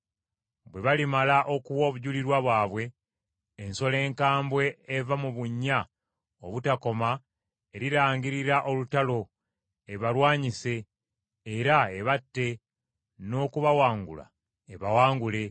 Bwe balimala okuwa obujulirwa bwabwe, ensolo enkambwe eva mu bunnya obutakoma erirangirira olutalo ebalwanyise, era ebatte n’okubawangula ebawangule.